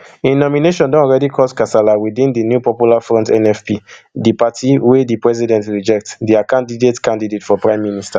im nomination don already caused kasala within di new popular front nfp di party wey di president reject dia candidate candidate for prime minister